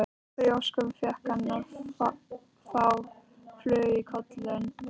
Af hverju í ósköpunum fékk hann þá flugu í kollinn?